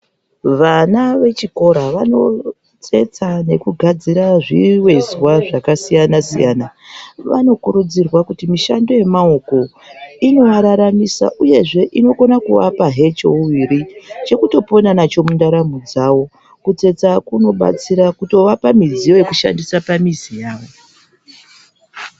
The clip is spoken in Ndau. Vana vechikora vanotsetsa nekugadzira zvivezwa zvakasiyana siyana vanokutudzirwa kuti mishando yemaoko inovararamisa uyezve inokona kuvapazve cheuviri. Chekutopona nacho mundaramo dzavo. Kutsetsa kunobatsira kutovapa midziyo yekushandisa pamizi yavo.